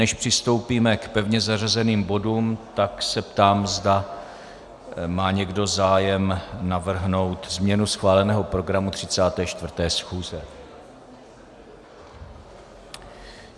Než přistoupíme k pevně zařazeným bodům, tak se ptám, zda má někdo zájem navrhnout změnu schváleného programu 34. schůze.